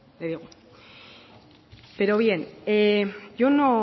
le digo pero bien yo no